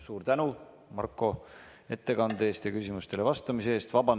Suur tänu, Marko, ettekande eest ja küsimustele vastamise eest!